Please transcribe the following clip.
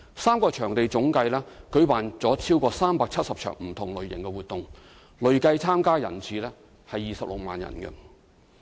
三個場地總計已舉辦了超過370場不同類型的活動，累計參與人次為26萬。